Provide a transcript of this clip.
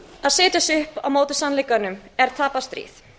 að setja sig upp á móti sannleikanum er tapað stríð